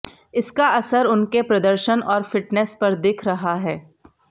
इसका असर उनके प्रदर्शन और फिटनेस पर दिख रहा है